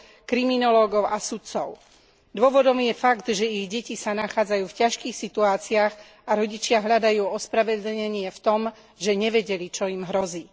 kriminológov a sudcov. Dôvodom je fakt, že ich deti sa nachádzajú v ťažkých situáciách a rodičia hľadajú ospravedlnenie v tom, že nevedeli, čo im hrozí.